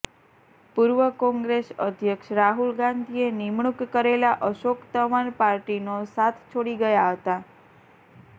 પૂર્વ કોંગ્રેસ અધ્યક્ષ રાહુલ ગાંધીએ નિમણૂક કરેલા અશોક તંવર પાર્ટીનો સાથ છોડી ગયા હતા